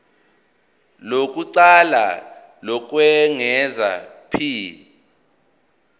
lokuqala lokwengeza p